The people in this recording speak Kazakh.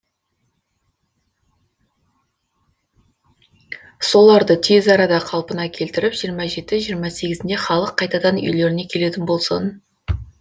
соларды тез арада қалпына келтіріп жиырма жеті жиырма сегізінде халық қайтадан үйлеріне келетін болсын